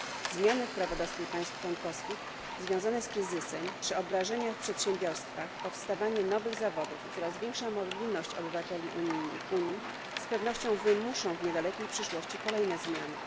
Zmiany w prawodawstwie państw członkowskich związane z kryzysem, przeobrażenia w przedsiębiorstwach, powstawanie nowych zawodów i coraz większa mobilność obywateli Unii z pewnością wymuszą w niedalekiej przyszłości kolejne zmiany.